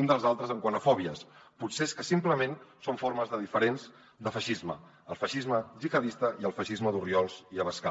un dels altres quant a fòbies potser és que simplement són formes diferents de feixisme el feixisme gihadista i el feixisme d’orriols i abascal